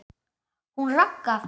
Hún Ragga?